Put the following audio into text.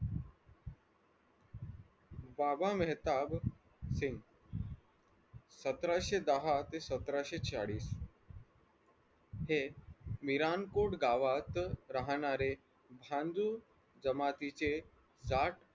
बाबा मेहताब सिंग सतराशे दहा ते सतराशे चाळीस हे मिरांपुर गावात राहणारे झणजू जमातीचे दाट